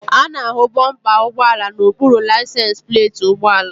A na-ahụ bọmpa ụgbọala n'okpuru laisensi pleeti ụgbọala.